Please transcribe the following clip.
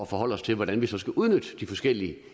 forholder os til hvordan vi så skal udnytte de forskellige